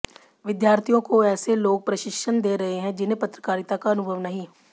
विद्यार्थियों को ऐसे लोग प्रशिक्षण दे रहे हैं जिन्हें पत्रकारिता का अनुभव नहीं